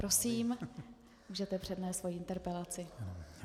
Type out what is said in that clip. Prosím, můžete přednést svoji interpelaci.